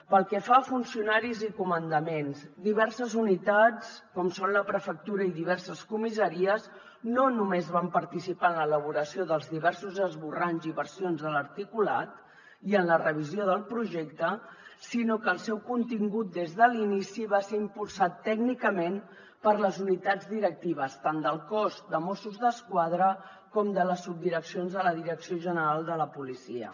pel que fa a funcionaris i comandaments diverses unitats com són la prefectura i diverses comissaries no només van participar en l’elaboració dels diversos esborranys i versions de l’articulat i en la revisió del projecte sinó que el seu contingut des de l’inici va ser impulsat tècnicament per les unitats directives tant del cos de mossos d’esquadra com de les subdireccions de la direcció general de la policia